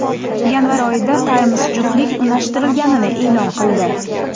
Yanvar oyida esa Times juftlik unashtirilganini e’lon qildi.